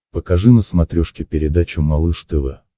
покажи на смотрешке передачу малыш тв